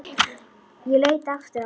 Ég leit aftur á hana.